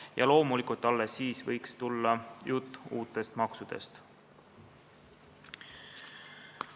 Ja loomulikult, alles siis võiks tulla juttu uutest maksudest.